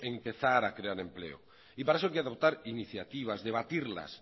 empezar a crear empleo y para eso hay que adoptar iniciativas debatirlas